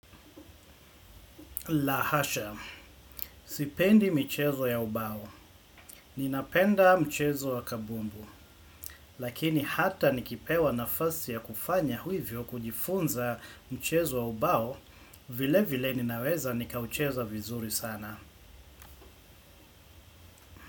La hasha. Sipendi michezo ya ubao. Ninapenda mchezo ya kabumbu. Lakini hata nikipewa nafasi ya kufanya hivyo kujifunza mchezo wa ubao vile vile ninaweza nikaucheza vizuri sana.